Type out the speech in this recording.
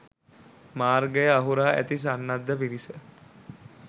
මාර්ගය අහුරා ඇති සන්නද්ධ පිරිස